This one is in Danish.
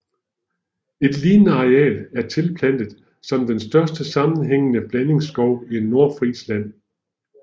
Et lignende areal er tilplantet som den største sammenhængende blandingsskov i Nordfrisland